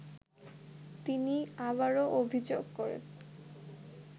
তিনি আবারও অভিযোগ করেন